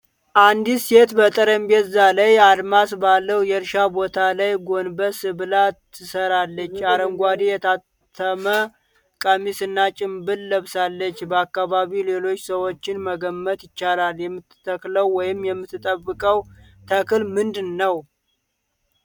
አንዲት ሴት በጠረጴዛ ላይ አድማስ ባለው የእርሻ ቦታ ላይ ጎንበስ ብላ ትሰራለች። አረንጓዴ፣ የታተመ ቀሚስ እና ጭንብል ለብሳለች። በአካባቢው ሌሎች ሰዎችን መገመት ይቻላል። የምትተክለው ወይም የምትጠብቀው ተክል ምንድን ነው?